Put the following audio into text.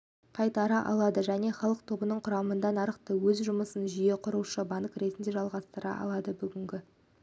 жылы мемлекеттің және мықты акционерлерінің қолдауының арқасында қазкоммерцбанк өзінің тұрақты және сенімді қаржы институты деген атағын